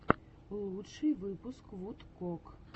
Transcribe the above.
лучший выпуск вудкок